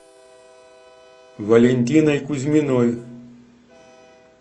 валентиной кузьминой